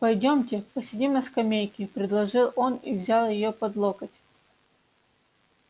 пойдёмте посидим на скамейке предложил он и взял её под локоть